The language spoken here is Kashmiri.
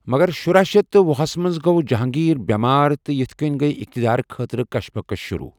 مگر شُراشیتھ تہٕ وُہ ہَس منٛز گوٚو جَہانٛگیٖر بٮ۪مار، تہٕ یِتھ کٔنہِ گیہ اِقتِدارٕ خٲطرٕ كشمكش شُروٗع۔